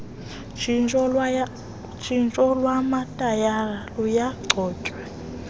tshintsho lwamatayara luyancoywa